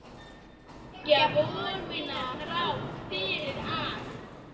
Vekja von mína þrátt fyrir allt.